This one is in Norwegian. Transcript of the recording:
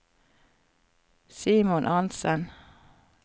Simon Arntzen